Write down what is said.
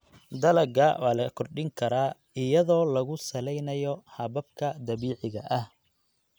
Dalagga waa la kordhin karaa iyadoo lagu saleynayo hababka dabiiciga ah.